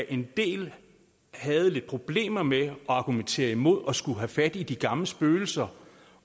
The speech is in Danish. en del havde lidt problemer med at argumentere imod at skulle have fat i de gamle spøgelser